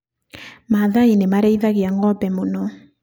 Maathai nĩmarĩithagia ng'ombe mũno